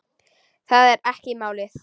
Það er ekki málið.